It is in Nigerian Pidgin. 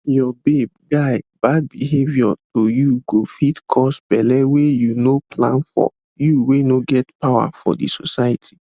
your babeguy bad behavior to you go fit cause belle wey you no plan for you wey no get power for the society